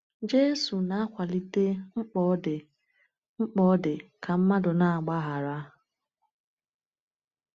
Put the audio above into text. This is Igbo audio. Jésù na-akwalite mkpa ọ dị mkpa ọ dị ka mmadụ na-agbaghara.